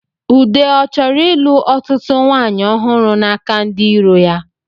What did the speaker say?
Ude ọ chọrọ ịlụ ọtụtụ nwanyị ọhụrụ n'aka ndi iro ya?